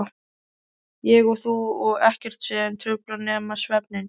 Ég og þú og ekkert sem truflar nema svefninn.